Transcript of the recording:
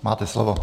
Máte slovo.